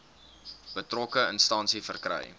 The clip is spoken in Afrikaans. betrokke instansie verkry